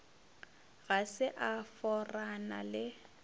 ga se a forana le